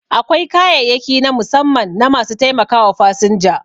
Akwai kayayyaki na musamman na ma su taimakawa fasinja